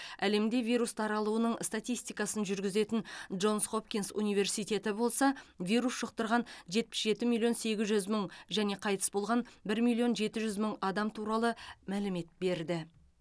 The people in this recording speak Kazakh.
әлемде вирус таралуының статистикасын жүргізетін джонс хопкинс университеті болса вирус жұқтырған жетпіс жеті миллион сегіз жүз мың және қайтыс болған бір миллион жеті жүз мың адам туралы мәлімет берді